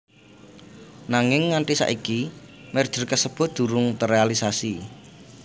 Nanging nganti saiki merger kasebut durung terealisasi